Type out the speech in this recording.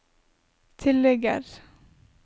tilligger